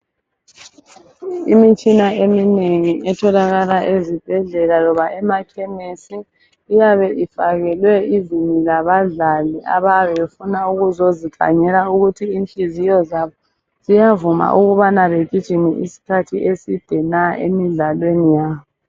Imitshina eminengi etholakala ezibhedlela loba emakhemesi iyabe ifakelwe ivini labadlali abayabe befuna ukuzozikhangela ukuthi inhliziyo zabo ziyavuma ukubana begijime isikhathi eside na emidlalweni yabo.